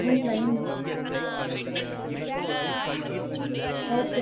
இல்ல mushroom mushroom okay தா பண்ணீர்லாம் வேண்டாம் mushroom